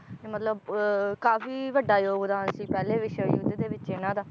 ਮਤਲਬ ਅਹ ਕਾਫੀ ਵੱਡਾ ਯੋਗਦਾਨ ਸੀ ਪਹਿਲੇ ਵਿਸ਼ਵ ਯੁੱਧ ਦੇ ਵਿਚ ਇਹਨਾਂ ਦਾ